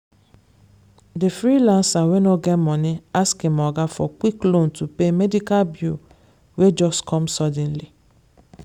the freelancer wey no get money ask him oga for quick loan to pay medical bill wey just come suddenly.